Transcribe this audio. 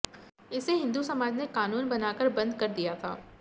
इसे हिंदू समाज ने कानून बनाकर बंद कर दिया था